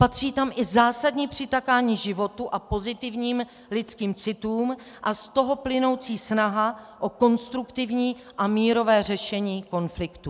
Patří tam i zásadní přitakání životu a pozitivním lidským citům a z toho plynoucí snaha o konstruktivní a mírové řešení konfliktů.